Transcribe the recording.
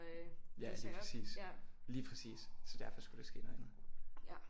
Ja lige præcis lige præcis så derfor skulle der ske noget andet